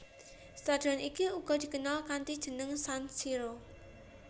Stadion iki uga dikenal kanthi jeneng San Siro